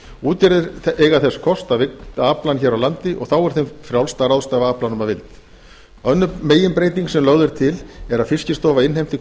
útgerðir eiga þess kost að vigta aflann hér á landi og þá er þeim frjálst að ráðstafa aflanum að vild önnur meginbreyting sem lögð er til er að fiskistofa innheimti